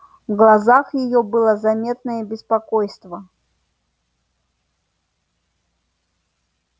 в глазах её было заметное беспокойство